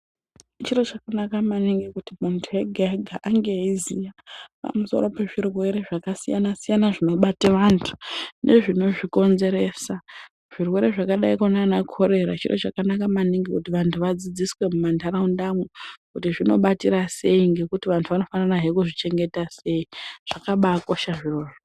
Chiro chanaka maningi kuti muntu ega-ega ange eiziya pamusoro pezvirwere zvakasiyana-siyana zvinobate vantu nezvinozvikonzeresa. Zvirwere zvakadaiko naana korera. Chiro chakanaka maningi kuti vantu vadzidziswe mumandaraundamwo kuti zvinobatira sei ngekuti vantu anofanirahe kuzvichengeta sei zvakabaakosha izvozvo.